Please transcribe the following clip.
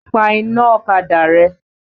Pa iná ọ̀kadà rẹ!